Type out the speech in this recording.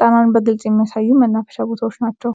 ጣናን በግልጽ የሚያሳዩ መናፈሻ ቦታዎች ናቸው።